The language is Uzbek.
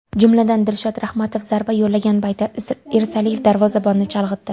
Jumladan Dilshod Rahmatov zarba yo‘llagan paytda Irsaliyev darvozabonni chalg‘itdi.